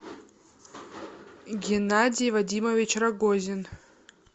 геннадий вадимович рогозин